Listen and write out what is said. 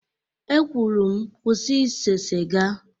E kwuru m, kwụsị ise siga